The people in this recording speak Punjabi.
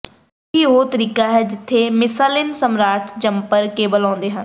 ਇਹੀ ਉਹ ਤਰੀਕਾ ਹੈ ਜਿੱਥੇ ਮਿਸਾਲੀਨ ਸਮਾਰਟ ਜੰਪਰ ਕੇਬਲ ਆਉਂਦੇ ਹਨ